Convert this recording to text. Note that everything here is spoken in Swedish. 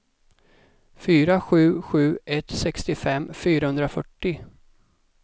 fyra sju sju ett sextiofem fyrahundrafyrtio